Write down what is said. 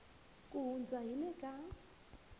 ku hundza hi le ka